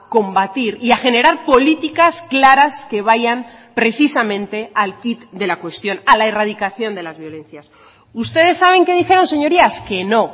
combatir y a generar políticas claras que vayan precisamente al quid de la cuestión a la erradicación de las violencias ustedes saben que dijeron señorías que no